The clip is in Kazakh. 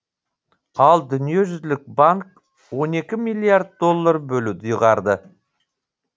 ал дүниежүзілік банк он екі миллиард доллар бөлуді ұйғарды